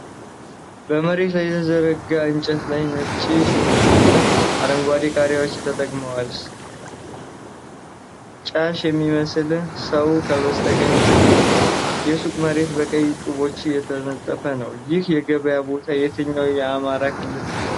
በመሬት ላይ በተዘረጋ እንጨት ላይ ነጭ ሽንኩርቶችና አረንጓዴ ቃሪያዎች ተቀምጠዋል። ሻጭ የሚመስል ሰው ከበስተቀኝ ተቀምጧል። የሱቁ መሬት በቀይ ጡቦች የተነጠፈ ነው። ይህ የገበያ ቦታ የትኛው የአማርኛ ክልል ነው?